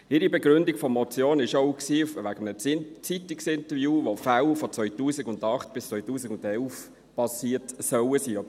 Die Begründung der Motion stützt sich auch auf ein Zeitungsinterview zu Fällen, die in den Jahren 2008 bis 2011 passiert sein sollen.